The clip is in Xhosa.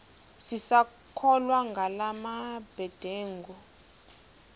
sisakholwa ngala mabedengu